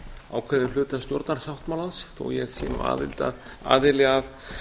ákveðinn hluta stjórnarsáttmálans þó að ég sé nú aðili að